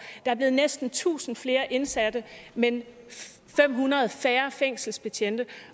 er blevet næsten tusind flere indsatte men fem hundrede færre fængselsbetjente